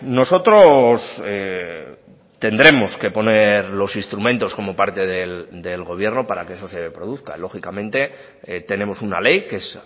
nosotros tendremos que poner los instrumentos como parte del gobierno para que eso se produzca lógicamente tenemos una ley que es